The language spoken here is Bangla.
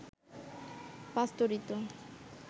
পাস্তুরিত